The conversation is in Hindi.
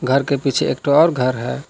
घर के पीछे एकटो और घर है।